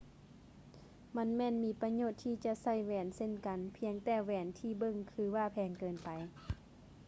ມັນແມ່ນມີປະໂຫຍດທີ່ຈະໃສ່ແຫວນເຊັ່ນກັນ ພຽງແຕ່ແຫວນທີ່ເບິ່ງຄືວ່າແພງເກີນໄປ